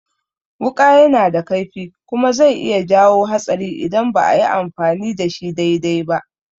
Wuƙa yana da kaifi kuma zai iya jawo hatsari idan ba ayi amfani da shi dai-dai ba